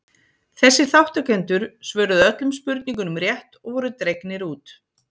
þessir þátttakendur svöruðu öllum spurningunum rétt og voru dregnir út